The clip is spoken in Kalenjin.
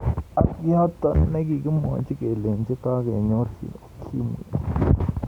Ak yotok ne kikimwaji kelenji kakenyorji ukimwi.